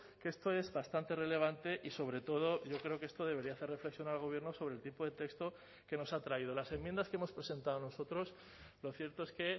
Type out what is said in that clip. que esto es bastante relevante y sobre todo yo creo que esto debería hacer reflexionar al gobierno sobre el tipo de texto que nos ha traído las enmiendas que hemos presentado nosotros lo cierto es que